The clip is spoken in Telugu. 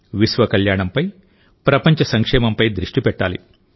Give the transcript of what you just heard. విశ్వ కళ్యాణంపైప్రపంచ సంక్షేమంపై దృష్టి పెట్టాలి